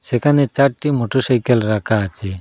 সেখানে চারটি মোটরসাইকেল রাখা আছে।